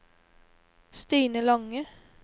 Stine Lange